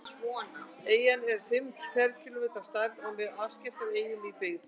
Eyjan er um fimm ferkílómetrar að stærð og með afskekktustu eyjum í byggð.